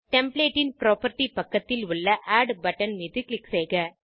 template ன் property பக்கத்தில் உள்ள ஆட் பட்டன் மீது க்ளிக் செய்க